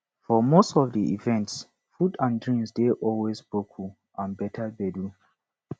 for most of di events food and drinks dey always boku and beter gbedu